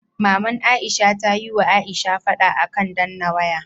Maman aisha tayi wa aisha fada akan danna waya